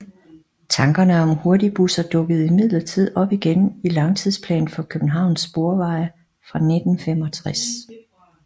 Tankerne om hurtigbusser dukkede imidlertid op igen i Langtidsplan for Københavns Sporveje fra 1965